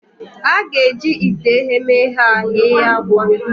A ga-eji ite eghemeghe a ghee akwa.